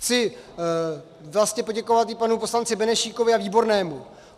Chci vlastně poděkovat i panu poslanci Benešíkovi a Výbornému.